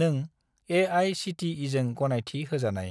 नों ए.आइ.सि.टि.इ.जों गनायथि होजानाय